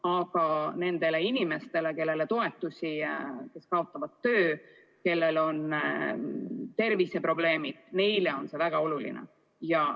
Aga nendele inimestele, kellele toetusi antakse, kes kaotavad töö, kellel on terviseprobleemid – neile on see väga oluline.